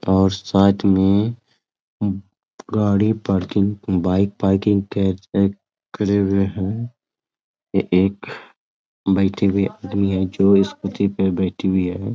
और साथ में गाड़ी पार्किंग बाइक पार्किंग कैब पे करे हुए है ये एक बैठी हुई आदमी है जो स्कूटी पे बैठी हुई है।